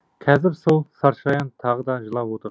қазір сол саршаян тағы да жылап отыр